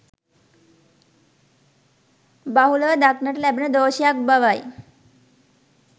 බහුලව දක්නට ලැබෙන දෝෂයක් බවයි